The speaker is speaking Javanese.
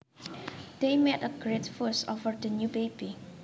They made a great fuss over the new baby